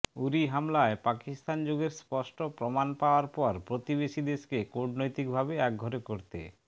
উরি হামলায় পাকিস্তান যোগের স্পষ্ট প্রমাণ পাওয়ার পর প্রতিবেশীদেশকে কূটনৈতিকভাবে একঘরে করতে